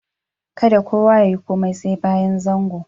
Kadda kowa ya yi komi sai bayan zangon.